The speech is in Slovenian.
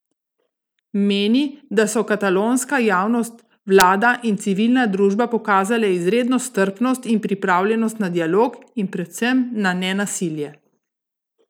Meni, da so katalonska javnost, vlada in civilna družba pokazale izredno strpnost in pripravljenost na dialog in predvsem na nenasilje.